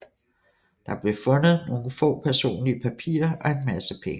Der blev fundet nogle få personlige papirer og en masse penge